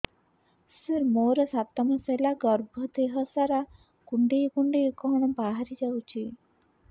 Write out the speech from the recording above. ସାର ମୋର ସାତ ମାସ ହେଲା ଗର୍ଭ ଦେହ ସାରା କୁଂଡେଇ କୁଂଡେଇ କଣ ବାହାରି ଯାଉଛି